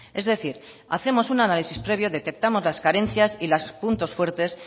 es decir hacemos una análisis previo detectamos las carencias y los puntos fuertes